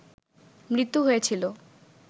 মৃত্যু হয়েছিল